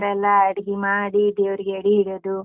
ಈತರ ಎಲ್ಲ ಅಡ್ಗಿ ಮಾಡಿ, ದೇವ್ರಿಗೆ ಎಡಿ ಇಡದು.